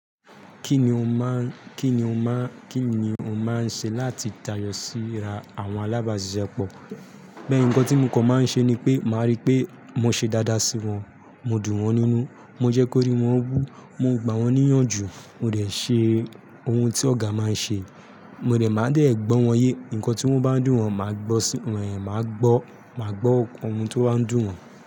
Kí ni o máa n, kí ni o máa, kí ni o máa ń ṣe láti tàyọ síra àwọn alábàáṣiṣẹ́pọ̀? Ɓẹ́ẹ̀ ni, nǹkan tí mo kọ máa ń ṣe ni pé màá rí pé mo ṣe dáadáa sí wọn, mo dùn wọ́n nínú, mo jẹ́ k'órí wọn wú, mo gbà wọ́n ní ìyànjú, mo dẹ̀ ṣe ohun tí ọ̀gá máa ń ṣe, mo dẹ̀ máa dẹ̀ gbọ́ wọn yé, nǹkan tí wọ́n bá ń dùn wọn máa gbọ́ sí wọn, máa gbọ́, màá gbọ́ ohun tó bá ń dùn wọn.